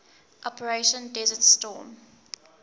operation desert storm